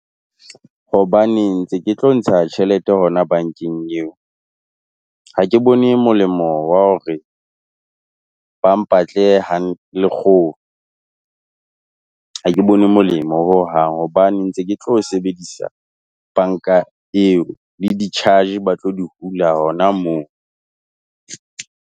Hobane ntse ke tlo ntsha tjhelete hona bankeng eo, ha ke bone molemo wa hore ba mpatle lekgolo ha ke bone molemo hohang hobane ntse ke tlo sebedisa banka eo le di-charge ba tlo di hula hona moo.